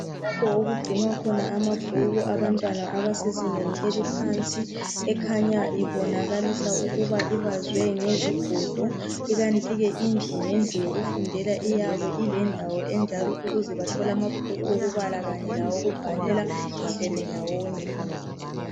Lapho okugcinwa amabhuku abantwana abasezingeni eliphansi ekhanya ibonakalisa ukuba ibazwe ngezigodo ikanti ke indlu ngendlu yokufundela iyabe ilendawo enjalo ukuze bethole amabhuku okubala kanye lawokubhalela ehleli ndawonye.